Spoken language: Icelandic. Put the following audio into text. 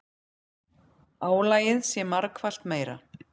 Álagið sé margfalt meira.